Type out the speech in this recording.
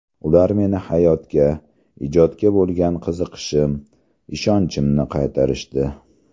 Ular meni hayotga, ijodga bo‘lgan qiziqishim, ishonchimni qaytarishdi.